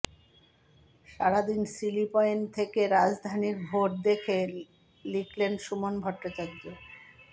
সারাদিন silly point থেকে রাজধানীর ভোট দেখে লিখলেন সুমন ভট্টাচার্য